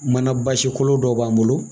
Mana basi kolo dɔ b'an bolo